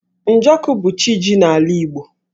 Njọkụ bụ CChi ji n'ala Igbo.